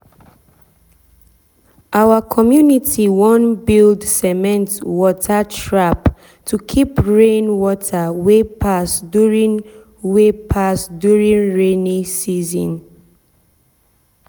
our community wan build cement water trap to keep rain water wey pass during wey pass during rainy season.